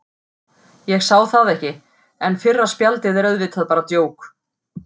Ég sá það ekki, en fyrra spjaldið er auðvitað bara djók.